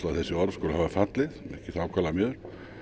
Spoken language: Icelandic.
að þessi orð skuli hafa fallið mér þykir það ákaflega miður